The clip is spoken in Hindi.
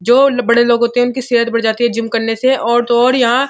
जो बड़े लोग होते हैं। उनकी सेहत बढ़ जाती है जिम करने से और तो और यहां --